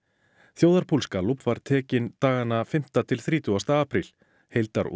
þjóðarpúls Gallups var tekinn dagana fimmta til þrítugasta apríl